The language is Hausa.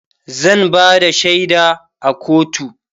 zan Bada shaida a kotu